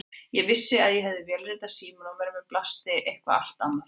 Ég vissi að ég hafði vélritað símanúmer en við mér blasti eitthvað allt annað.